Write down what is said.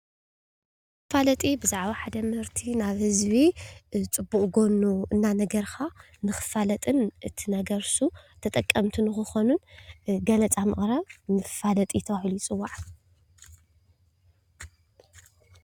መፋለጢ ብዛዕባ ሓደ ምህርቲ ናብ ህዝቢ ፅቡቅ ጎኑ እንዳነገርካ ንክፋለጥን እቲ ነገር እሱ ተጠቀምቲ ንክኾኑ ገለፃ ምቅራብ መፋለጢ ተባሂሉ ይፅዋዕ።